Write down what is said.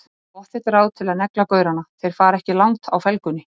Pottþétt ráð til að negla gaurana, þeir fara ekki langt á felgunni!